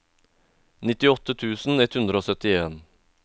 nittiåtte tusen ett hundre og syttien